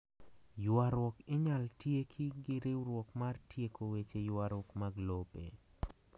Ywaruok inyal tieki gi riwruok mar Tieko Weche ywaruok mag lope